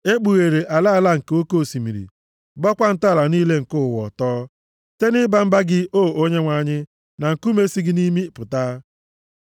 E kpughere ala ala nke oke osimiri, gbakwa ntọala niile nke ụwa ọtọ, site nʼịba mba gị, O Onyenwe anyị, na nkuume si gị nʼimi pụta.